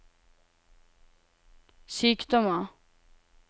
sykdommer